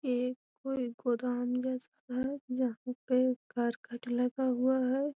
ये कोई गोदाम यहां पे करकट लगा हुआ है।